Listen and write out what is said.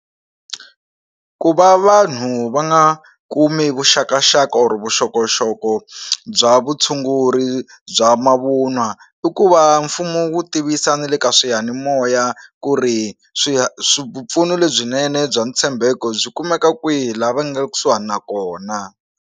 Ku va vanhu va nga kumi vuxakaxaka or vuxokoxoko bya vutshunguri bya mavunwa i ku va mfumo wu tivisa na le ka swiyanimoya ku ri swi swipfuno lebyinene bya ntshembeko byi kumeka kwihi laha va nga kusuhani na kona.